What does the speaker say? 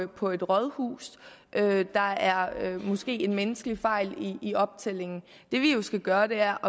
på et rådhus der er måske en menneskelig fejl i optællingen det vi jo skal gøre er